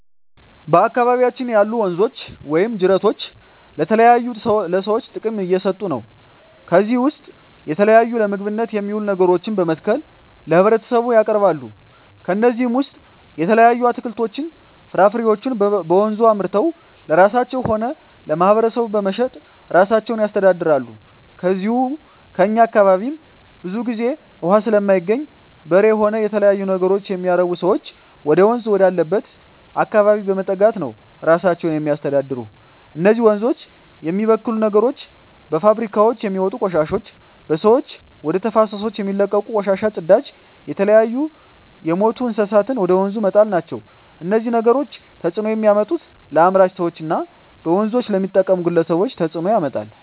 በአካባቢያችን ያሉ ወንዞች ወይም ጅረቶች ለተለያዩ ለሰዎች ጥቅም እየሠጡ ነው ከዚህ ውስጥ የተለያዩ ለምግብነት የሚውሉ ነገሮችን በመትከል ለህብረተሰቡ ያቀርባሉ ከነዚህም ውሰጥ የተለያዩ አትክልቶች ፍራፍሬዎችን በወንዙ አምርተው ለራሳቸው ሆነ ለማህበረሰቡ በመሸጥ እራሳቸውን ያስተዳድራሉ ከዚው ከእኛ አካባቢም ብዙ ግዜ እውሃ ስለማይገኝ በሬ ሆነ የተለያዩ ነገሮች የሚያረቡ ሰዎች ወደወንዝ ወዳለበት አካባቢ በመጠጋት ነው እራሳቸውን የሚያስተዳድሩ እነዚህ ወንዞች የሚበክሉ ነገሮች በፋብሪካውች የሚወጡ ቆሻሾች በሰዎች ወደ ተፋሰሶች የሚለቀቁ ቆሻሻ ጽዳጅ የተለያዩ የምቱ እንስሳትን ወደ ወንዙ መጣል ናቸው እነዚህ ነገሮች ተጽዕኖ የሚያመጡት ለአምራች ሰዎች እና በወንዞች ለሚጠቀሙ ግለሰቦች ተጽእኖ ያመጣል